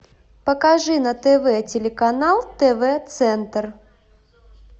покажи на тв телеканал тв центр